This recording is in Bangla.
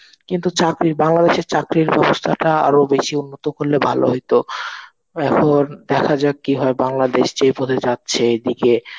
কিন্তু চাকরি বাংলাদেশে চাকরির ব্যবস্থাটা আরো বেশি উন্নত করলে ভালো হতো. এখন দেখা যাক কি হয় বাংলাদেশ যেই পথে যাচ্ছে এদিকে